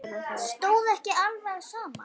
Stóð ekki alveg á sama.